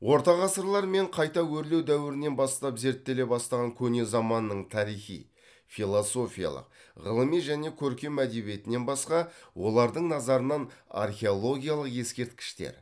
ортағасырлар мен қайта өрлеу дәуірінен бастап зерттеле бастаған көне заманның тарихи философиялық ғылыми және көркем әдебиетінен басқа олардың назарынан археологиялық ескерткіштер